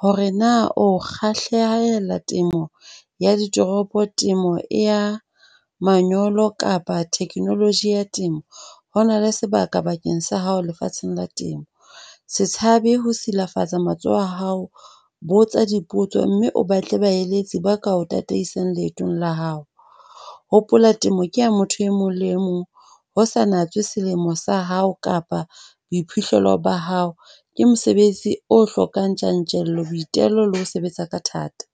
Hore na o kgahlehela temo ya ditoropo. Temo ya manyolo kapa technology ya temo, ho na le sebaka bakeng sa hao lefatsheng la temo. Se tshabe ho silafatsa matsoho a hao. Botsa dipotso mme o batle baeletsi ba ka o tataisang leetong la hao. Hopola temo ke ya motho e mong le e mong ho sa natse selemo sa hao kapa boiphihlelo ba hao, Ke mosebetsi o hlokang tjantjello, boitelo le ho sebetsa ka thata.